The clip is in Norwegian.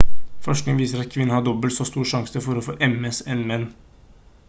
forskning viser at kvinner har dobbelt så stor sjanse for å få ms enn menn